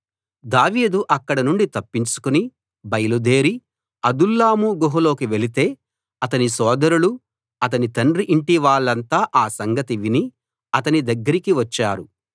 దావీదు అక్కడనుండి తప్పించుకుని బయలుదేరి అదుల్లాము గుహలోకి వెళితే అతని సోదరులు అతని తండ్రి ఇంటివాళ్ళంతా ఆ సంగతి విని అతని దగ్గరికి వచ్చారు